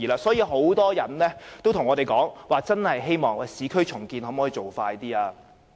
所以，很多人向我們表示，希望市區重建的步伐可以加快。